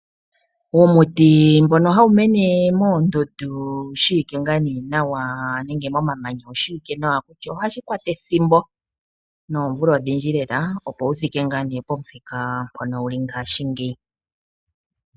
Uumuti mbono hawu mene moondundu nenge momamanya, owu shiwike ngaa nee nawa kutya ohashi kwata ethimbo noomvula odhindji lela, opo wu thike pomuthika mpono wu li ngashingeyi.